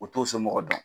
O t'o somɔgɔ dɔn